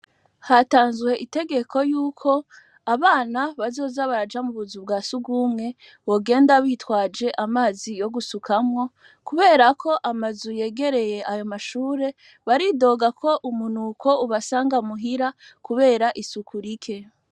Hatanzwe itegeko yuko abana bazoza baraja mu buzu bwa surwumwe bogenda bitwaje amazi yo gusukamwo kubera ko amazu yegereye ayo mashure baridoga ko umunuko ubasanga muhira kubera isuku rike.